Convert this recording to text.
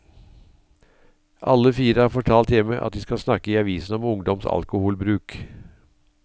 Alle fire har fortalt hjemme at de skal snakke i avisen om ungdoms alkoholbruk.